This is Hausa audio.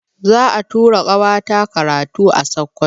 Za'a tura ƙawata karatu a Sokoto.